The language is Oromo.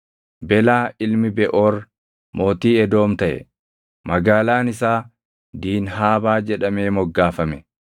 Belaa ilmi Beʼoor mootii Edoom taʼe. Magaalaan isaa Diinhaabaa jedhamee moggaafame.